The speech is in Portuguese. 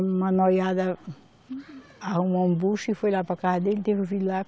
Uma noiada arrumou um bucho e foi lá para casa dele, teve o filho lá.